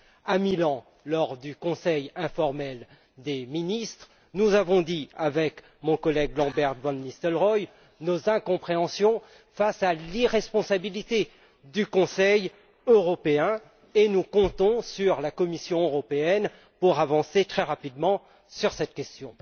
À Milan, lors du Conseil informel des ministres, nous avons dit, avec mon collègue nos incompréhensions face à l'irresponsabilité du Conseil européen et nous comptons sur la Commission européenne pour avancer très rapidement sur cette question.